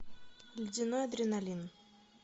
ледяной адреналин